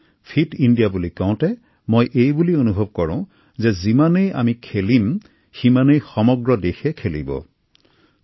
fit India বুলি কওতে মই এই কথা অনুভৱ কৰো যে যিমানে আমি খেলিম সিমানে সমগ্ৰ দেশবাসীক খেলিবলৈ অনুপ্ৰাণিত কৰিম